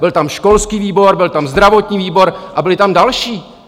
Byl tam školský výbor, byl tam zdravotní výbor a byly tam další!